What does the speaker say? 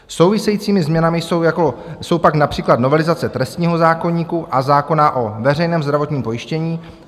Souvisejícími změnami jsou pak například novelizace trestního zákoníku a zákona o veřejném zdravotním pojištění.